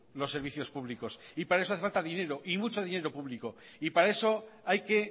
los servicios públicos y para eso hace falta dinero y mucho dinero público y para eso hay que